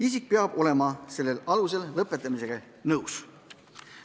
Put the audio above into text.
Isik peab olema sellel alusel lõpetamisega nõus.